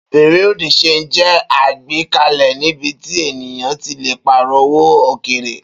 Bereau de change jẹ́ àgbékalẹ̀ níbi tí ènìyàn ti le pààrọ̀ owó òkèèrè.